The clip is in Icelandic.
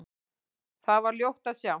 Þar var ljótt að sjá.